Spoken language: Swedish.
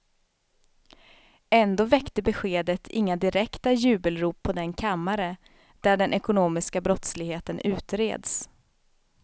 Ändå väckte beskedet inga direkta jubelrop på den kammare, där den ekonomiska brottsligheten utreds.